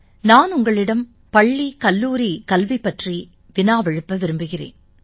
நான் உங்களிடம் பள்ளி கல்லூரிக் கல்வி பற்றி வினாவெழுப்ப விரும்புகிறேன்